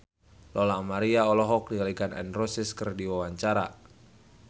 Lola Amaria olohok ningali Gun N Roses keur diwawancara